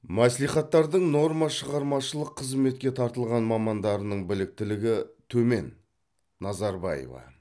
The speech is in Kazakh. мәслихаттардың нормашығармашылық қызметке тартылған мамандарының біліктілігі төмен назарбаева